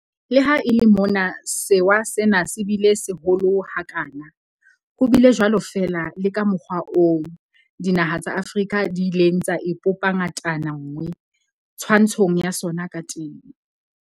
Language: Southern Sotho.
Le ha e le mona sewa sena se bile seholo ha kana, ho bile jwalo fela le ka mokgwa oo dinaha tsa Afrika di ileng tsa ipopa ngatana nngwe twantshong ya sona ka teng.